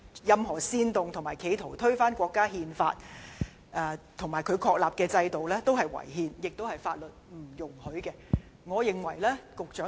任何煽動及企圖推翻國家《憲法》及其確立制度的行為也屬違憲和違法。